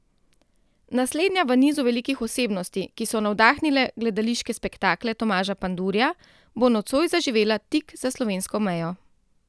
Naslednja v nizu velikih osebnosti, ki so navdahnile gledališke spektakle Tomaža Pandurja, bo nocoj zaživela tik za slovensko mejo.